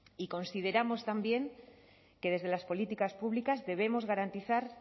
y consideramos también que desde las políticas públicas debemos garantizar